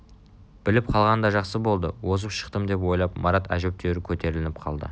біліп қалғаны да жақсы болды озып шықтымдеп ойлап марат әжептеуір көтеріліп қалды